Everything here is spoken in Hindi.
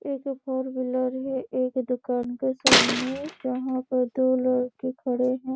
एक फोर व्हीलर है एक दुकान के सामने जहाँ पर दो लड़के खड़े है।